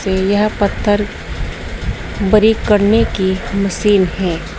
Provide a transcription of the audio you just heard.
यह पत्थर बड़ी करने की मशीन है।